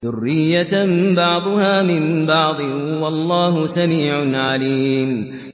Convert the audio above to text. ذُرِّيَّةً بَعْضُهَا مِن بَعْضٍ ۗ وَاللَّهُ سَمِيعٌ عَلِيمٌ